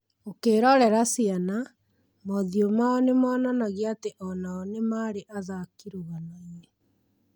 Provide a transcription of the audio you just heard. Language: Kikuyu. ũkĩrorera ciana, mothiũ mao nĩmonanagia atĩ onao nĩ marĩ athaki rũganoinĩ